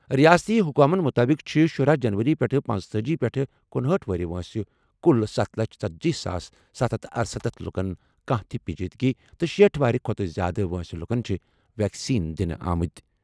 رِیٲستی حُکامن مُطٲبِق چھِ شُرہ جنوری پٮ۪ٹھٕ پنژتأجی پیٚٹھٕ کنُہأٹھ وُہُر وٲنٛسہِ کُل ستھ لچھ ژٔتجی ساس ستَھ ہتَھ تہٕ ارسَتتھ لُکن کانٛہہ تہِ پیچیدٕگی تہٕ شیٖٹھ وُہُر کھۄتہٕ زِیٛادٕ وٲنٛسہِ لُکَن چھِ ویکسیٖن دِنہٕ آمٕتۍ۔